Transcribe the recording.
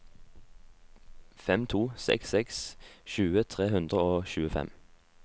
fem to seks seks tjue tre hundre og tjuefem